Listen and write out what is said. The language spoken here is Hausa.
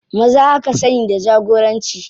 Maza aka sani da jagoranci.